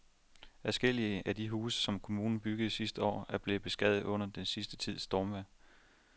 Adskillige af de huse, som kommunen byggede sidste år, er blevet beskadiget under den sidste tids stormvejr.